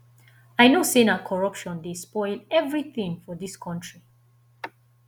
i know sey na corruption dey spoil everytin for dis country